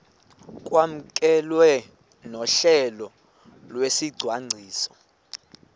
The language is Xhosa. kwamkelwe nohlelo lwesicwangciso